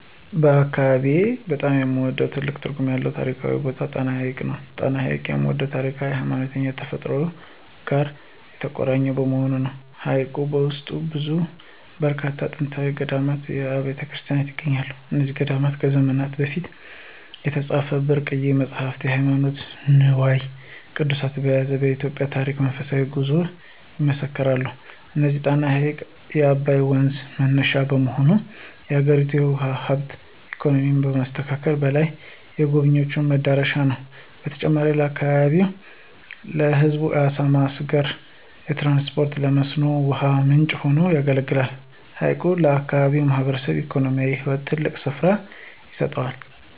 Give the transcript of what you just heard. በአካባቢዬ በጣም የምወደውና ትልቅ ትርጉም ያለው ታሪካዊ ቦታ ጣና ሐይቅ ነው። ጣና ሐይቅን የምወደው ከታሪክ፣ ከሃይማኖትና ከተፈጥሮ ጋር የተቆራኘ በመሆኑ ነው። በሐይቁ ውስጥና በዙሪያው በርካታ ጥንታዊ ገዳማትና አብያተ ክርስቲያናት ይገኛሉ። እነዚህ ገዳማት ከዘመናት በፊት የተጻፉ ብርቅዬ መጻሕፍትና ሃይማኖታዊ ንዋየ ቅድሳት በመያዝ የኢትዮጵያን ታሪክና መንፈሳዊ ጉዞ ይመሰክራሉ። እንዲሁም ጣና ሐይቅ የአባይ ወንዝ መነሻ በመሆኑ፣ የአገሪቱን የውሃ ሀብትና ኢኮኖሚ ከማስተሳሰሩም በላይ፣ የጎብኝዎች መዳረሻ ነው። በተጨማሪም ለአካባቢው ሕዝብ ለዓሣ ማስገር፣ ለትራንስፖርትና ለመስኖ ውሃ ምንጭ ሆኖ ያገለግላል። ሐይቁ ለአካባቢው ማኅበራዊና ኢኮኖሚያዊ ሕይወት ትልቅ ስፍራ ይሰጠዋል።